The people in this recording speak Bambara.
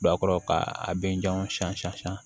Don a kɔrɔ ka a bɛ janw san